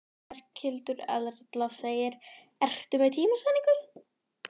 Berghildur Erla: Ertu með tímasetningu?